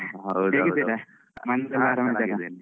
ಹಾ ಹೇಗಿದ್ದೀರಾ? ಮನೇಲೆಲ್ಲ ಆರಾಮ?